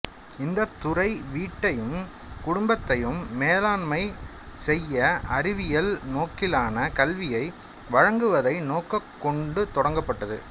இந்தத் துறை வீட்டையும் குடும்பத்தையும் மேலாண்மை செய்ய அறிவியல் நோக்கிலான கல்வியை வழங்குவதை நோக்கக் கொண்டு தொடங்கப்பட்டது